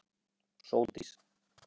Sóldís